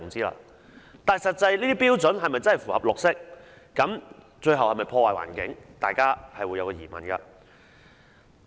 實際上，這些標準是否真的符合"綠色"，最後是否破壞環境，大家是存有疑問的。